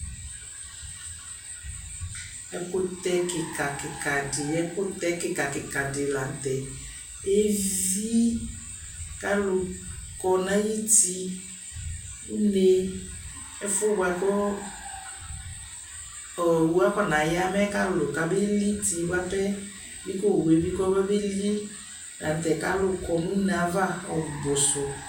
Ɛkutɛ kikakikadi di lanutɛ evii kalukɔ nayuti unee ɛfuɛbua ku owʋakanaya kalu kabeli bi kowue'kobeli lanutɛ kalu kɔ nuneava ɔbusu